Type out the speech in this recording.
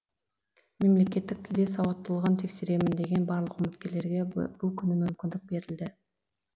мемлекеттік тілде сауаттылығын тексеремін деген барлық үміткерге бұл күні мүмкіндік берілді